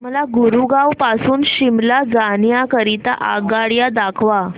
मला गुरगाव पासून शिमला जाण्या करीता आगगाड्या दाखवा